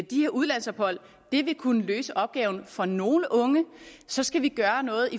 de her udlandsophold vil kunne løse opgaven for nogle unge så skal vi gøre noget